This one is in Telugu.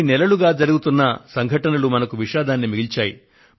కొన్ని నెలలుగా జరుగుతున్న కొన్ని సంఘటనలు మనకు విషాదాన్ని మిగిల్చాయి